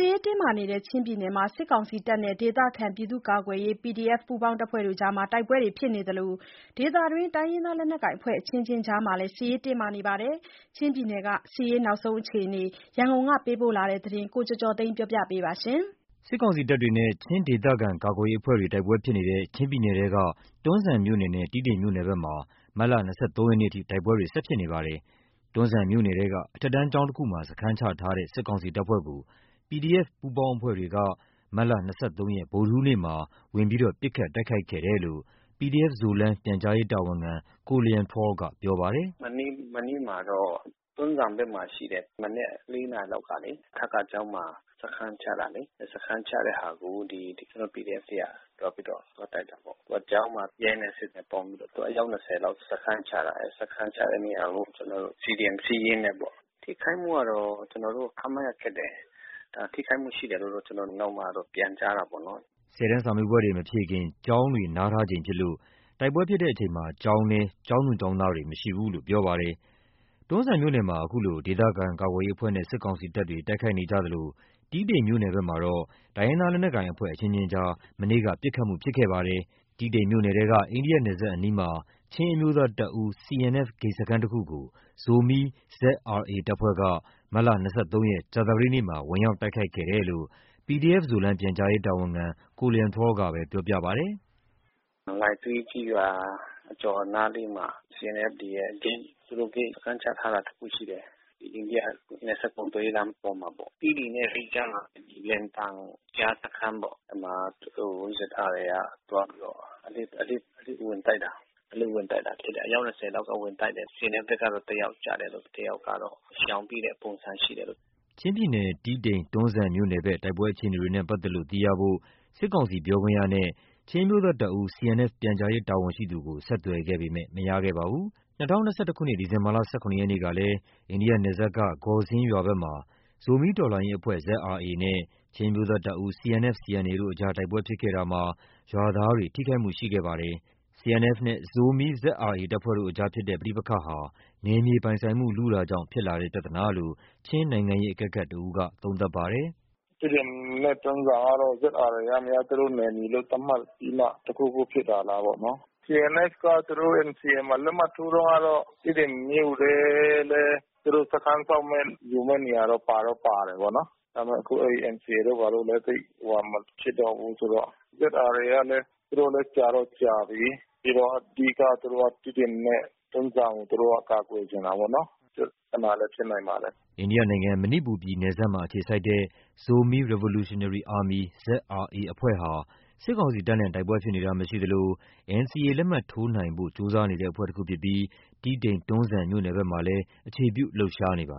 ေးတင်းမာနေတဲ့ ချင်းပြည်နယ်မှာ စစ်ကောင်စီတပ်နဲ့ ဒေသခံပြည်သူ့ကာကွယ်ရေး PDF ပူးပေါင်းအဖွဲ့တွေ တိုက်ပွဲဖြစ်နေ သလို ဒေသတွင်း တိုင်းရင်းသားလက်နက်ကိုင်အဖွဲ့အချင်းချင်းကြားမှာလည်း စစ်ရေးတင်းမာနေပါတယ်။ ချင်းပြည်နယ်ဘက်က စစ်ရေးအခြေအနေအကြောင်း ရန်ကုန်က ပေးပို့တဲ့သတင်းကို ကိုကျော်ကျော်သိန်းက တင်ပြပေးထားပါတယ်။ စစ်ကောင်စီတပ်တွေနဲ့ ချင်းဒေသခံကာကွယ်ရေးအဖွဲ့တွေ တိုက်ပွဲဖြစ်နေတဲ့ ချင်းပြည်နယ်ထဲက တွန်းဇံမြို့နယ် နဲ့ တီးတိန်မြို့နယ်ဘက်မှာ မတ်လ ၂၃ ရက်နေ့အထိ တိုက်ပွဲတွေဖြစ်နေပါတယ်။ တွန်းဇံမြို့နယ်ထဲက အထက်တန်းကျောင်းတခုမှာ စခန်းချထားတဲ့ စစ်ကောင်စီတပ်ဖွဲ့ကို PDF ပူးပေါင်းအဖွဲ့တွေက မတ်လ ၂၃ ရက် ဗုဒ္ဓဟူးနေ့မှာ ဝင်ရောက်ပစ်ခတ်တိုက်ခိုက်ခဲ့တယ်လို့ PDF Zoland ပြန်ကြားရေးတာဝန်ခံ တဦးက ပြောပါတယ်။ “မနေ့မနက်မှာတော့ တွန်းဇံဘက်မှာရှိတဲ့ မနက် နာရီလောက်ကလေ အထကကျောင်းမှာ စခန်းချထားတဲ့ စခန်းချတဲ့ဟာကို ကျနော်တို့ PDF တွေက သွားပြီးတော့ဝင်တိုက်တာပေါ့။ ကျောင်းမှာ ရဲနဲ့စစ်သားနဲ့ပေါင်းပြီးတော့ အယောက် လောက် စခန်းချထားတယ်ပေါ့။ စခန်းချတဲ့နေရာကို CDM Siyin နဲ့ပေါ့။ ထိခိုက်မှုကတော့ ကျနော်တို့ ခန့်မှန်းရခက်တယ်။ ထိခိုက်မှုရှိတယ်လို့ ကျနော်တို့ကနောက်မှတော့ပြန်ကြားတာပေါ့နော်။’’ ၁၀ တန်းစာမေးပွဲတွေမဖြေခင် ကျောင်းတွေနားထားချိန်ဖြစ်လို့ တိုက်ပွဲဖြစ်ချိန် ကျောင်းထဲမှာတော့ ကျောင်းသူကျောင်းသားတွေ မရှိဘူးလို့ပြောပါတယ်။ တွန်းဇံမြို့နယ်မှာ အခုလို ဒေသခံကာကွယ်ရေးအဖွဲ့နဲ့ စစ်ကောင်စီတပ်တွေ တိုက်ခိုက်နေကြသလို တီးတိန်မြို့ နယ်ဘက်မှာတော့ တိုင်းရင်းသားလက်နက်ကိုင်အဖွဲ့ အချင်းချင်းကြား မနေ့က ပစ်ခတ်မှုဖြစ်ခဲ့ပါတယ်။ တီးတိန်မြို့နယ်ထဲက အိန္ဒိယနယ်စပ်အနီးမှာ ချင်းအမျိုးသားတပ်ဦး CNF ဂိတ်စခန်းတခုကို ဇိုမီ ZRA တပ်ဖွဲ့က မတ်လ ရက် ကြာသပတေးနေ့မှာ ဝင်ရောက်တိုက်ခိုက်ခဲ့တယ်လို့လည်းသူက ပြောပြပါတယ်။ “လိုင်စင်းကျေးရွာအကျော်နားလေးမှာ CNF တွေရဲ့ဂိတ် သူတို့ဂိတ်စခန်းချထားတာတခုရှိတယ်။ အိန္ဒိယနယ်စပ် ကုန်သွယ်ရေး လမ်းပေါ်မှာပေါ့။ တီးတိန်နဲ့လိကြားမှာ လွယ်တန်ကြားစခန်းပေါ့။ အဲဒီမှာ သူတို့ ZRA က သွားပြီးတော့ အလစ်ဝင်ပြီးတော့ တိုက်တာ။ အလစ်ဝင်တိုက်တာဖြစ်တယ်။ အယောက် လောက်ဝင်တိုက်တယ်။ CNF ဘက်က တယောက်ကျတယ်ပေါ့။ တယောက်ကတော့ ရှောင်ပြေးတဲ့ပုံစံဖြစ်တယ်။’’ ချင်းပြည်နယ်၊ တီးတိန်-တွန်းဇံမြို့နယ်ဘက် တိုက်ပွဲအခြေအနေနဲ့ပက်သက်လို့ သိရဖို့ စစ်ကောင်စီပြောခွင့်ရနဲ့ ချင်းအမျိုးသားတပ်ဦး CNF ပြန်ကြားရေးတာဝန်ရှိသူကို ဆက်သွယ်ခဲ့ပေမဲ့မရခဲ့ပါဘူး။ ၂၀၂၁ ခုနှစ် ဒီဇင်ဘာ ၁၇ ရက်နေ့က လည်း အိန္ဒိယနယ်စပ်က Gawsing ဂေါ်စင်းရွာဘက်မှာ ဇိုမီးတော်လှန်ရေးအဖွဲ့ ZRA နဲ့ ချင်းအမျိုးသားတပ်ဦး CNF/CAN တို့ အကြား တိုက်ပွဲဖြစ်ခဲ့တာမှာ ရွာသားတွေ ထိခိုက်မှုရှိခဲ့ပါတယ်။ CNF နဲ့ ဇိုမီး ZRA တပ်ဖွဲ့တို့ကြား ရှိတဲ့ပဋိပက္ခဟာ နယ်မြေပိုင်ဆိုင်မှု လုတာကြောင့် ဖြစ်လာတဲ့ပြဿနာလို့ ချင်းနိုင်ငံရေးအကဲခတ်တဦးကပြောပါတယ်။ “တီးတိန်နဲ့တွန်းဇံကတော့ ZRA ကများ သူတို့နယ်မြေသတ်မှတ်ပြီးမှ တခုခုဖြစ်တာလားပေါ့နော်။ CNF ကတော့ NCA မှာ လက်မှတ်ထိုးတုန်းကတော့ တီးတိန်မြို့ထဲလည်း သူတို့စခန်းဆောက်မဲ့ ယူမဲ့နေရာတော့ပါတော့ပါတာပေါ့။ ဒါပေမဲ့အခု NCA တို့ ဘာတို့ကလည်း သိပ်ဟိုဟာမဖြစ်တော့ဘူးဆိုတော့။ ZRA ကလည်း သူတို့လည်း ကြာတော့ကြာပြီး။ ပြီးတော့ အဓိက သူတို့က တီးတိန် နဲ့တွန်းဇံကို ကာကွယ်ချင်တာပေါ့နော်။ အဲဒီပြဿနာလည်း ဖြစ်နိုင်ပါတယ်။’’ အိန္ဒိယနိုင်ငံ၊ မဏိပူရ်ပြည်နယ်စပ်မှာအခြေစိုက်တဲ့ Zomi Revolutionary Army အဖွဲ့ဟာ စစ်ကောင်စီတပ်နဲ့ တိုက်ပွဲ ဖြစ်တာမရှိသလို NCAလက်မှတ်ထိုးနိုင်ဖို့ကြိုးစားနေတဲ့အဖွဲ့တခုဖြစ်ပြီး တီးတိန် တွန်းဇံမြို့နယ်ဘက်မှာလည်း အခြေပြုလှုပ်ရှားနေပါ